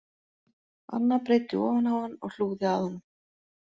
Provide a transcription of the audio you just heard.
Anna breiddi ofan á hann og hlúði að honum